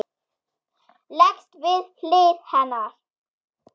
Leggst við hlið hennar.